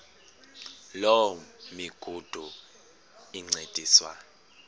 loo migudu encediswa